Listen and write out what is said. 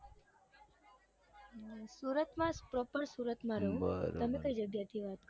હમ સુરતમાં proper સુરતમાં રૌ હમ બરોબર તમે કઈ જગ્યાએ થી વાત કરો છો.